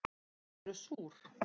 Þau eru súr